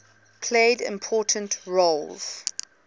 played important roles